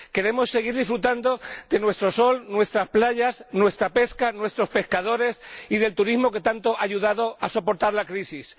Queremos seguir disfrutando de nuestro sol, nuestras playas, nuestra pesca, nuestros pescadores y del turismo, que tanto ha ayudado a soportar la crisis.